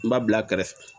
N b'a bila kɛrɛfɛ